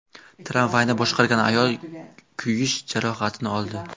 Tramvayni boshqargan ayol kuyish jarohatini oldi.